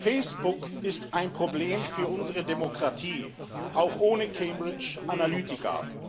Facebook ist ein Problem für unsere Demokratie auch ohne Cambridge Analytica.